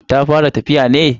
Ta fara tafiya ne?